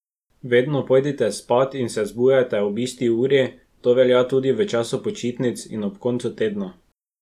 Vedno pojdite spat in se zbujajte ob isti uri, to velja tudi v času počitnic in ob koncu tedna.